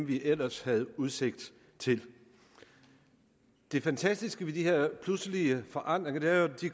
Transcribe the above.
de ellers havde udsigt til det fantastiske ved de her pludselige forandringer er jo at de